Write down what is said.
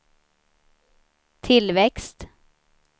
tillväxt